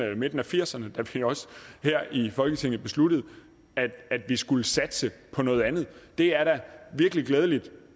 af nitten firserne da vi også her i folketinget besluttede at vi skulle satse på noget andet det er da virkelig glædeligt